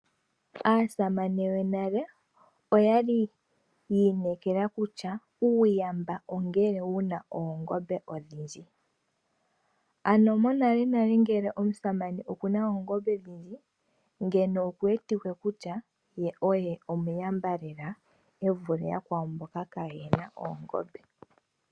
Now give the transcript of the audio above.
Aasamane yonale oyali yi inekela kutya uuyamba ongele wuna oongombe odhindji. Ano monalenale ngele omusamane okuna oongombe odhindji ando okuwetike kutya ye oye omuyamba lela e vule yakwawo mboka kaayena sha oongombe.